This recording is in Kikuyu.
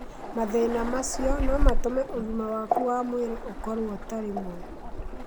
Mathĩna macio no matũme ũgima waku wa mwĩrĩ ũkorũo ũtarĩ mwega.